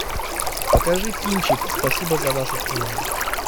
покажи кинчик спасибо за вашу службу